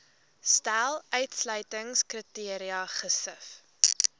stel uitsluitingskriteria gesif